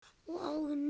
Og áin niðandi undir.